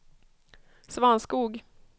Svanskog